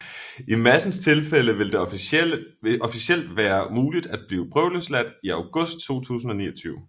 I Madsens tilfælde vil det officielt være muligt at blive prøveløsladt i august 2029